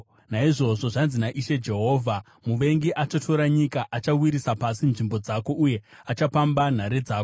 Naizvozvo zvanzi naIshe Jehovha, “Muvengi achatora nyika; achawisira pasi nzvimbo dzako uye achapamba nhare dzako.”